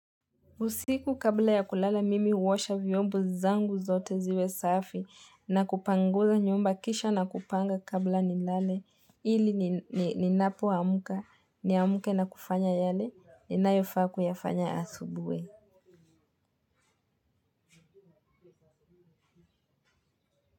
Usiku kabla ya kulala mimi uosha vyombo zangu zote ziwe safi na kupanguza nyumba kisha na kupanga kabla ni lale ili ninapo amuka niamuke na kufanya yale ninayofaa kuyafanya asubui.